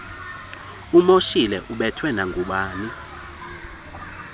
umoshile ubethwe nangubani